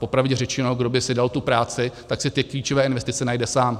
Popravdě řečeno, kdo by si dal tu práci, tak si ty klíčové investice najde sám.